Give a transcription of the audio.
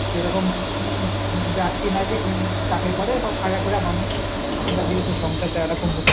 সেরকম উম ব্যাক্তি নাই যে উম চাকরি করে সব কালা খোড়া মানুষ সংসার চালা টা খুব